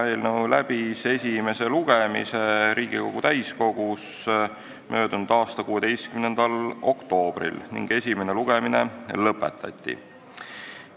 Eelnõu läbis esimese lugemise Riigikogu täiskogus 16. oktoobril ning esimene lugemine lõpetati.